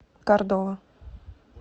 кордова